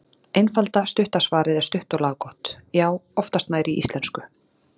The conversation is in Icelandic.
Einfalda, stutta svarið er stutt og laggott: Já, oftast nær í íslensku.